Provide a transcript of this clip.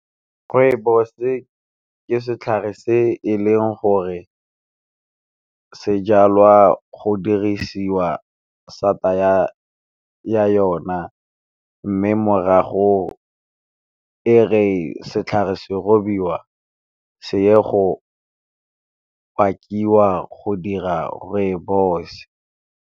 Kgwebo se ka setlhare se e leng gore se jalwa go dirisiwa sata ya yona, mme morago e re setlhare se robiwa se ye go pakiwa go dira rooibos.